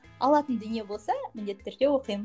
алатын дүние болса міндетті түрде оқимын